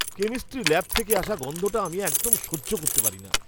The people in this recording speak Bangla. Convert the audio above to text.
কেমিস্ট্রি ল্যাব থেকে আসা গন্ধটা আমি একদম সহ্য করতে পারি না।